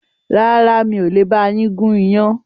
Rárá, mi ò le ba yín gún iyán